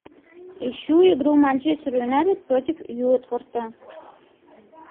ищу игру манчестер юнайтед против уотфорда